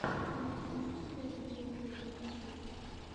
ты найдешь у себя видеоблоги ютьюб